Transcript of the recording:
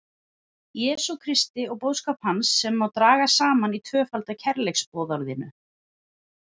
Jesú Kristi og boðskap hans sem má draga saman í tvöfalda kærleiksboðorðinu.